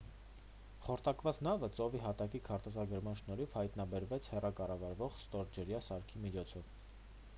խորտակված նավը ծովի հատակի քարտեզագրման շնորհիվ հայտնաբերվեց հեռակառավարվող ստորջրյա սարքի միջոցով